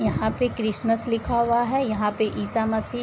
यहाँ पे क्रिसमस लिखा हुआ है। यहाँ पे ईसा मसीह --